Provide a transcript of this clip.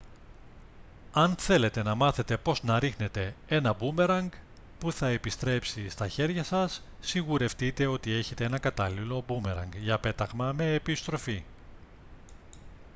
αν θέλετε να μάθετε πώς να ρίχνετε ένα μπούμερανγκ που θα επιστρέψει στα χέρια σας σιγουρευτείτε ότι έχετε ένα κατάλληλο μπούμερανγκ για πέταγμα με επιστροφή